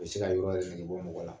U bɛ se ka yɔrɔ sigi yɛrɛ negebɔ mɔgɔ la